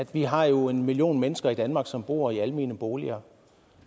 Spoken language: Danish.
vi har jo en million mennesker i danmark som bor i almene boliger